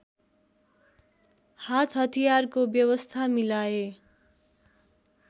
हातहतियारको व्यवस्था मिलाए